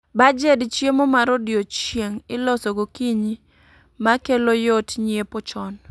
Bajed chiemo mar odiechieng' iloso gokinyi, ma kelo yot nyiepo chon